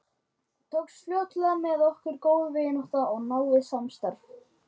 Í eðlilegu magni myndar eyrnamergur verndandi hjúp í hlustinni sem hrindir frá sér vatni.